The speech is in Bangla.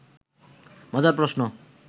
মজার প্রশ্ন